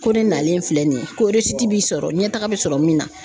Ko ne nalen filɛ nin ye ko b'i sɔrɔ ɲɛtaga bɛ sɔrɔ min na.